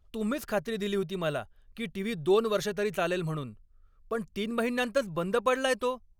तुम्हीच खात्री दिली होती मला की टीव्ही दोन वर्षं तरी चालेल म्हणून, पण तीन महिन्यांतच बंद पडलाय तो!